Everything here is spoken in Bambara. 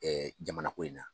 jamana ko in na